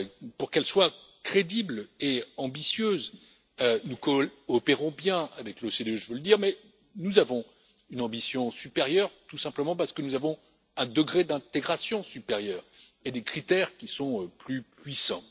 Pour qu'elle soit crédible et ambitieuse, nous coopérons bien avec l'OCDE, je veux le dire, mais nous avons une ambition supérieure, tout simplement parce que nous avons un degré d'intégration supérieur et des critères qui sont plus puissants.